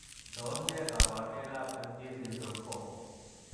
Tos nee koborunoikab FG syndrome 4?